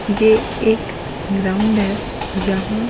ये एक ग्राउंड है जहां --